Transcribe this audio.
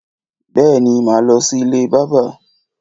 Bèéní, màá lọ sí ilé bábà